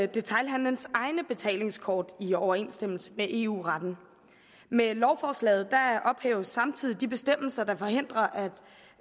detailhandelens egne betalingskort i overensstemmelse med eu retten med lovforslaget ophæves samtidig de bestemmelser der forhindrer